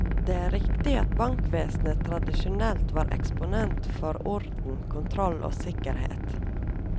Det er riktig at bankvesenet tradisjonelt var eksponent for orden, kontroll og sikkerhet.